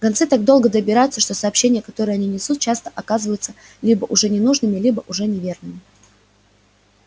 гонцы так долго добираются что сообщения которые они несут часто оказываются либо уже ненужными либо уже неверными